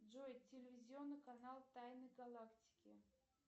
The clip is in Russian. джой телевизионный канал тайны галактики